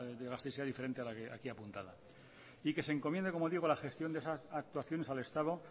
gasteiz sea diferente a la de aquí apuntada y se encomiende como digo la gestión de esas actuaciones al estado